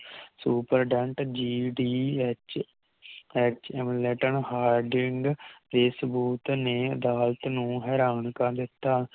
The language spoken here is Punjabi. Superident GDHHM Letin Harding ਦੇ ਸਬੂਤ ਨੇ ਅਦਾਲਤ ਨੂੰ ਹੈਰਾਨ ਕਰ ਦਿਤਾ